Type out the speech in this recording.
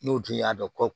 N'u dun y'a dɔn ko